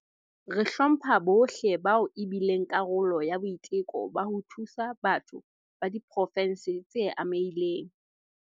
Re hlompha bohle bao e bileng karolo ya boiteko ba ho thusa batho ba diprovense tse amehileng.